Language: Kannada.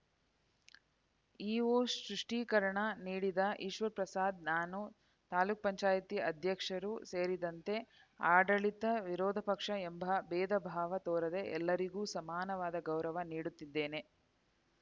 ಇಒ ಸ್ವಷ್ಟೀಕರಣ ನೀಡಿದ ಈಶ್ವರಪ್ರಸಾದ್‌ ನಾನು ತಾಲೂಕ್ ಪಂಚಾಯಿತಿ ಅಧ್ಯಕ್ಷರೂ ಸೇರಿದಂತೆ ಆಡಳಿತ ವಿರೋಧ ಪಕ್ಷ ಎಂಬ ಭೇದಭಾವ ತೋರದೆ ಎಲ್ಲರಿಗೂ ಸಮಾನವಾದ ಗೌರವ ನೀಡುತ್ತಿದ್ದೇನೆ